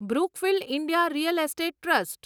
Brookfield India real estate trust